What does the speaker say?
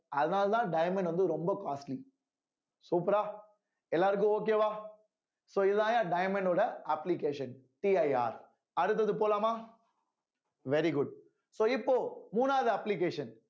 அதனாலதான் diamond வந்து ரொம்ப costly super ஆ எல்லாருக்கும் okay வா so இதுதாய்யா diamond ஓட applicationCIR அடுத்தது போலாமா very good so இப்போ மூணாவது application